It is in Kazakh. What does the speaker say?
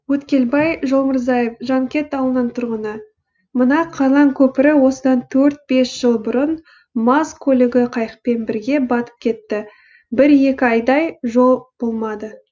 өткелбай жолмырзаев жанкент ауылының тұрғыны мына қарлан көпірі осыдан төрт бес жыл бұрын маз көлігі қайықпен бірге батып кетіп бір екі айдай жол болмады